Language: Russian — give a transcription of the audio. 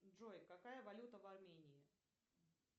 джой какая валюта в армении